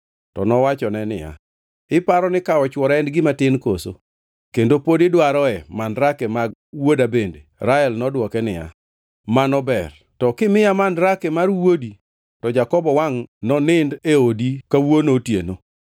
To nowachone niya, “Iparo ni kawo chwora en gima tin koso? Kendo pod idwaroe mandrake mag wuoda bende?” Rael nodwoke niya, “Mano ber, to kimiya mandrake mar wuodi to Jakobo wangʼ nonindo e odi kawuono otieno.”